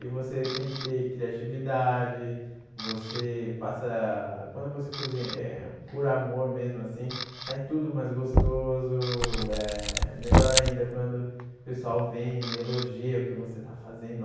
E você tem que ter criatividade, você passa, quando você cozinha, por amor mesmo assim, sai tudo mais gostoso, eh melhor ainda quando o pessoal vem e elogia o que você está fazendo.